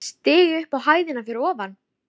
Stigi upp á hæðina fyrir ofan.